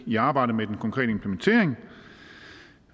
i arbejdet med den konkrete implementering